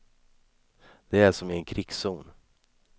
Det är som i en krigszon.